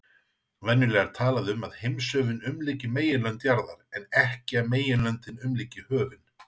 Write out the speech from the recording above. Venjulega er talað um að heimshöfin umlyki meginlönd jarðar en ekki að meginlöndin umlyki höfin.